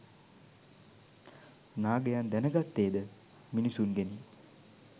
නාගයන් දැන ගත්තේ ද මිනිසුන්ගෙනි.